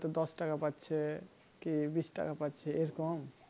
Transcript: তো দশ টাকা পাচ্ছে কি বিষ টাকা পাচ্ছে এরকম